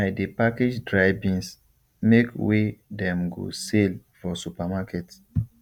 i dey package dry beans make wey dem go sale for supermarket